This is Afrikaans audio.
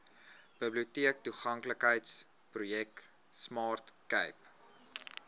biblioteektoeganklikheidsprojek smart cape